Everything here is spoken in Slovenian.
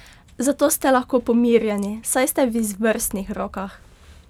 Zato ste lahko pomirjeni, saj ste v izvrstnih rokah!